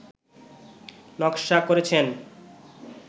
নকশা করেছেন